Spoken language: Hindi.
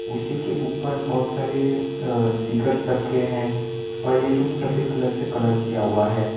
कुर्सी के ऊपर बहोत सारे अ स्पीकर्स रखे है और ये रूम सफेद कलर से कलर किया हुआ है।